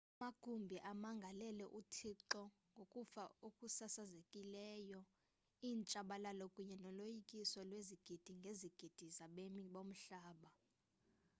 amagumbi amangalele uthixo ngokufa okusasazekileyo intshabalalo kunye noloyikiso lwezigidi ngezigidi zabemi bomhlaba